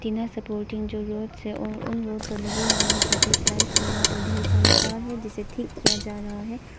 नए सपोर्टिंग जो रोड्स ओ उन रोड लगे हुए हैं सफेद लाइट और यहां पर ढेर सारी कार है जिसे ठीक किया जा रहा है।